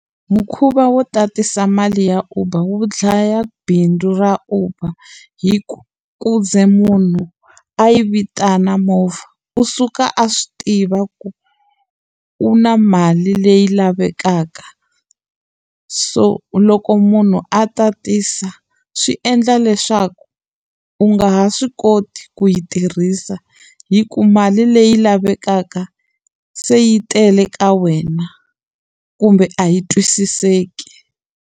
Mukhuva wo tatisa mali ya Uber wu dlaya bindzu ra Uber, hikuva ku ze munhu a yi vitana movha, u suka a swi tiva ku u na mali leyi lavekaka. So loko munhu a tatisa, swi endla leswaku u nga ha swi koti ku yi tirhisa hikuva mali leyi lavekaka se yi tele ka wena kumbe a yi twisiseki.